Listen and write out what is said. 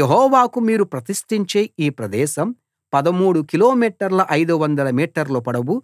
యెహోవాకు మీరు ప్రతిష్టించే ఈ ప్రదేశం 13 కిలోమీటర్ల 500 మీటర్ల పొడవు